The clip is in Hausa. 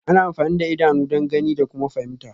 Ana amfani da idanu don gani da kuma fahimta